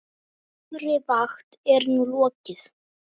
Þessari vakt er nú lokið.